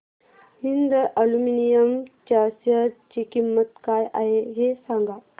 Hind aluminium च्या share ची किंमत काय आहे हे सांगा